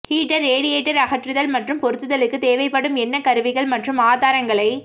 heater radiator அகற்றுதல் மற்றும் பொருத்துதலுக்கு தேவைப்படும் என்ன கருவிகள் மற்றும் ஆதாரங்களை